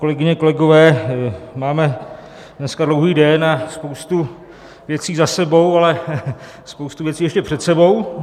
Kolegyně, kolegové, máme dneska dlouhý den a spoustu věcí za sebou, ale spoustu věcí ještě před sebou.